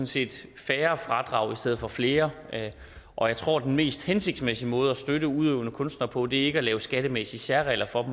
set færre fradrag i stedet for flere og jeg tror at den mest hensigtsmæssige måde at støtte udøvende kunstnere på ikke er at lave skattemæssige særregler for